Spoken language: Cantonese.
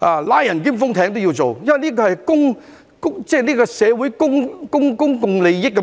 或"拉人封艇"，因為這是社會公共利益的問題。